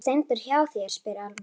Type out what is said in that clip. Var Steindór hjá þér, spyr Alma.